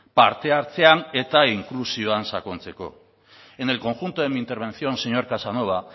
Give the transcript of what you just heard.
parte hartzean eta inklusioan sakontzeko en el conjunto de mi intervención señor casanova